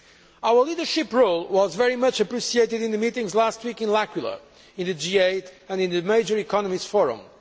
Our leadership role was very much appreciated in the meetings last week in L'Aquila in the G8, and in the Major Economies Forum.